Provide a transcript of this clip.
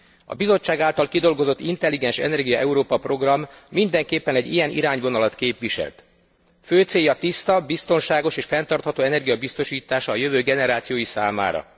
A Bizottság által kidolgozott Intelligens energia Európa program mindenképpen egy ilyen irányvonalat képviselt. Fő célja tiszta, biztonságos és fenntartható energia biztosítása a jövő generációi számára.